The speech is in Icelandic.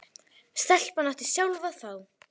Stelpan átti sjálf að fá.